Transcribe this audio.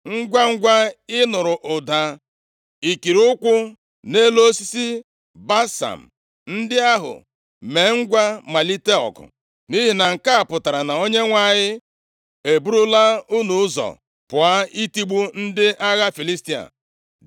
Ngwangwa ị nụrụ ụda ikiri ụkwụ nʼelu osisi balsam ndị ahụ, mee ngwa malite ọgụ, nʼihi na nke a pụtara na Onyenwe anyị eburula unu ụzọ pụọ, itigbu ndị agha Filistia.”